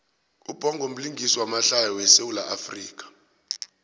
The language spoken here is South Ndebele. ubhongo mlingisi wamahlaya we sawula afrika